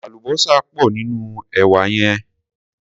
Àlùbósà pò nínú èwà yẹn.